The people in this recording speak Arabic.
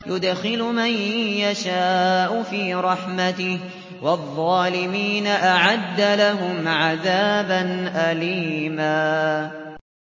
يُدْخِلُ مَن يَشَاءُ فِي رَحْمَتِهِ ۚ وَالظَّالِمِينَ أَعَدَّ لَهُمْ عَذَابًا أَلِيمًا